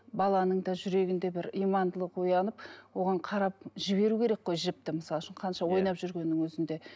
баланың да жүрегінде бір имандылық оянып оған қарап жіберу керек қой жіпті мысалы үшін қанша ойнап жүргеннің өзінде